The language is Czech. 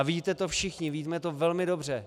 A víte to všichni, víme to velmi dobře.